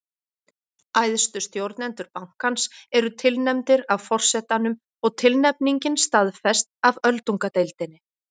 Æðstu stjórnendur bankans eru tilnefndir af forsetanum og tilnefningin staðfest af öldungadeildinni.